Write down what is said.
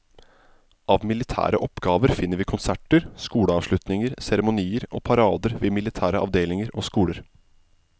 Av militære oppgaver finner vi konserter, skoleavslutninger, seremonier og parader ved militære avdelinger og skoler.